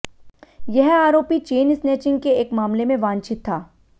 यह आरोपी chain snatching के एक मामले में वांछित था